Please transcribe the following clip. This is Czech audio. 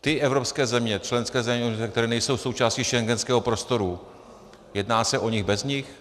Ty evropské země, členské země, které nejsou součástí schengenského prostoru, jedná se o nich bez nich?